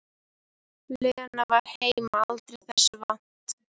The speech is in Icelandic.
Lena var heima aldrei þessu vant.